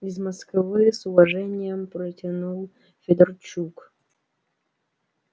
из москвы с уважением протянул федорчук